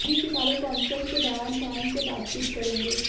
ये सितारे कॉन्सर्ट के दौरान फैंस से बातचीत करेंगे